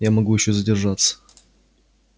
я могу ещё задержаться